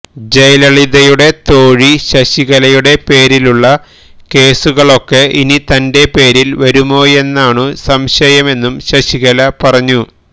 ജയലളിതയുടെ തോഴി ശശികലയുടെ പേരിലുള്ള കേസുകളൊക്കെ ഇനി തന്റെ പേരിൽ വരുമോയെന്നാണു സംശയമെന്നും ശശികല പറഞ്ഞു